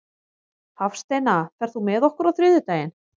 Hafsteina, ferð þú með okkur á þriðjudaginn?